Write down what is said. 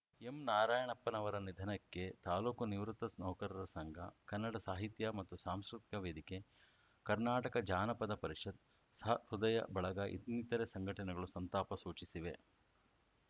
ಎಂನಾರಾಯಣಪ್ಪನವರ ನಿಧನಕ್ಕೆ ತಾಲೂಕು ನಿವೃತ್ತ ನೌಕರರ ಸಂಘ ಕನ್ನಡ ಸಾಹಿತ್ಯ ಮತ್ತು ಸಾಂಸ್ಕೃತಿಕ ವೇದಿಕೆ ಕರ್ನಾಟಕ ಜಾನಪದ ಪರಿಷತ್‌ ಸಹೃದಯ ಬಳಗ ಇನ್ನಿತರೆ ಸಂಘಟನೆಗಳು ಸಂತಾಪ ಸೂಚಿಸಿವೆ